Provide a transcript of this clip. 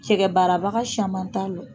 Cɛkɛ barabaga camanba t'a ɲan!